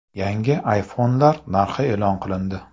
Yangi iPhone’lar narxi e’lon qilindi.